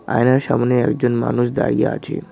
আয়নার সামোনে একজন মানুষ দাঁড়িয়ে আছে।